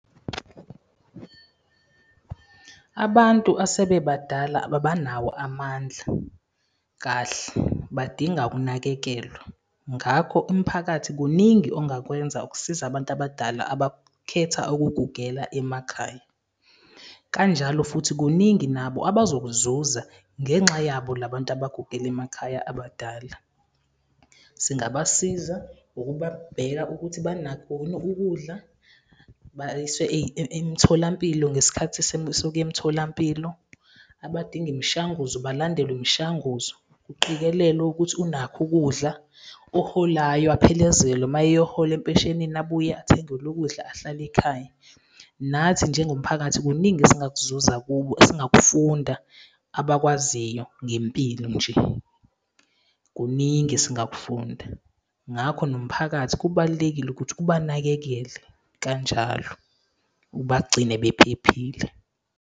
Abantu asebe badala abanawo amandla kahle, badinga ukunakekelwa. Ngakho umphakathi kuningi ongakwenza ukusiza abantu abadala abakhetha ukugugela emakhaya. Kanjalo futhi kuningi nabo abazokuzuza ngenxa yabo labantu abagugela emakhaya abadala. Singabasiza ngokubabheka ukuthi banakho yini ukudla, bayiswe emtholampilo ngesikhathi sokuya emtholampilo, abadinga imishanguzo balandelwe imishanguzo. Kuqikelelwe ukuthi unakho ukudla, oholayo aphelezelwe maye eyohola empeshenini, abuye athengelwe ukudla ahlale ekhaya. Nathi njengomphakathi, kuningi esingakuzuza kubo, esingakufunda, abakwaziyo ngempilo nje, kuningi esingakufunda. Ngakho nomphakathi kubalulekile ukuthi ubanakekele kanjalo, ubagcine bephephile.